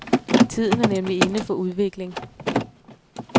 Tiden er nemlig inde for udvikling.